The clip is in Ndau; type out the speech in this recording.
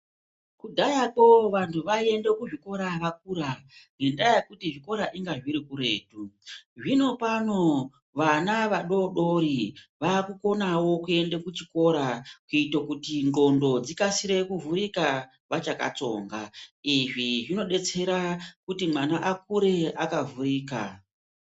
Kudhaya kwo vanhu vaiende kuzvikora vakura ngendaa yekuti zvikora inga zviri kuti kuretu zvino pano vana vadodori vakukonawo kuende kuchikora kuite kuti ngondo dzikasire kuvhurika vachakatsonga izvi zvinodetsera kuti mwana akure akavhurika.